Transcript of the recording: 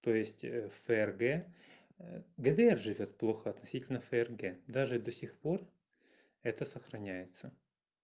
то есть фрг гдр живёт плохо относительно фрг даже до сих пор это сохраняется